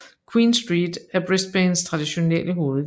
Queen Street er Brisbanes traditionelle hovedgade